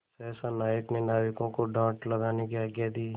सहसा नायक ने नाविकों को डाँड लगाने की आज्ञा दी